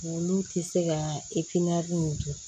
Olu tɛ se ka nin kɛ